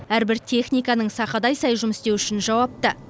әрбір техниканың сақадай сай жұмыс істеуі үшін жауапты